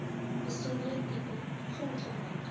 besondere tipe grondgebruik